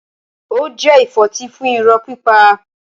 Ó jẹ ìfọ́tí fún irọ́ pípa.